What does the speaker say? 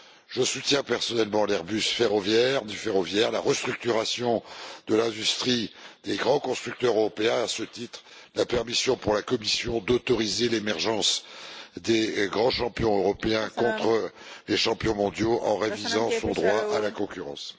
Je soutiens personnellement l'Airbus du ferroviaire, la restructuration de l'industrie et des grands constructeurs européens et, à ce titre, la permission pour la Commission d'autoriser l'émergence de grands champions européens contre les champions mondiaux en réduisant son droit de la concurrence.